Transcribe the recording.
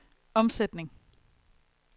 omsætning